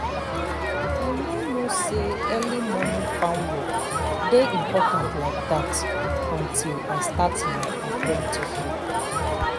i no know say early morning farm work dey important like that until i start my apprenticeship